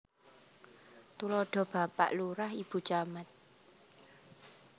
Tuladha Bapak Lurah Ibu Camat